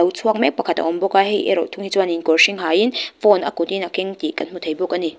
chhuak mek pakhat a awm bawk a hei erawh thung hi chuanin kawr hring hain phone a kutin a keng tih kan hmu thei bawk a ni.